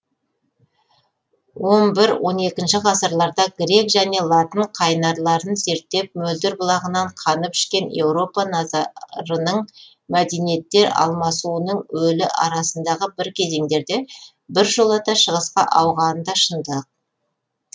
он бір он екінші ғасырларда грек және латын қайнарларын зерттеп мөлдір бұлағынан қанып ішкен еуропа назарының мәдениеттер алмасуының өлі арасындағы бір кезеңдерде біржолата шығысқа ауғаны да шындық